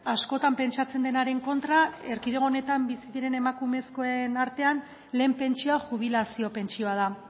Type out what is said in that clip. askotan pentsatzen denaren kontra erkidego honetan bizi diren emakumezkoen artean lehen pentsioa jubilazio pentsioa da